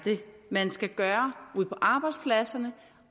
man skal gøre ude på arbejdspladserne